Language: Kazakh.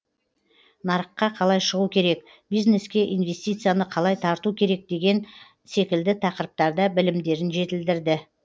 нарыққа қалай шығу керек бизнеске инвестицияны қалай тарту керек деген секілді тақырыптарда білімдерін жетілдірді